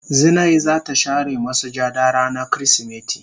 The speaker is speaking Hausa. Zinai za ta share masujada rana kirisimeti.